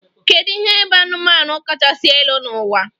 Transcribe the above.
Kedu ihe bụ anụmanụ kachasị elu n'ụwa?